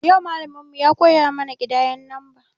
Yau malamin mu ya koya mana kidayen lamba